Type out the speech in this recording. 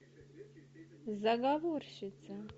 заговорщица